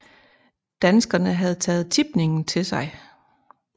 Danskerne havde taget tipningen til sig